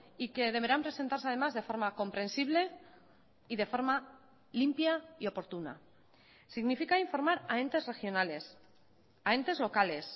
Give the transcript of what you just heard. y que deberán presentarse además de forma comprensible y de forma limpia y oportuna significa informar a entes regionales a entes locales